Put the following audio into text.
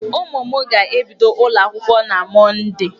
Ụmụ m ga-ebido ụlọ akwụkwọ na Mọndee.